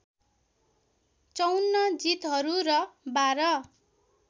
५४ जितहरू र १२